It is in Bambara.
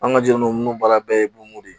An ka jɔn ninnu baara bɛɛ ye bon de ye